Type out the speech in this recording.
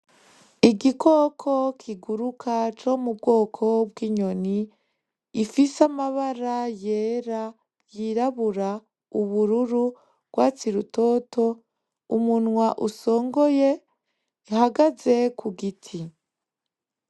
Igikoko kiguruka co mu bwoko bw’inyoni gifise amabara yera , yirabura, ubururu , urwatsi rutoto , umunwa usongoye , gihagaze ku giti